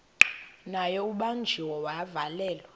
naye ubanjiwe wavalelwa